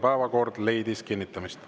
Päevakord leidis kinnitamist.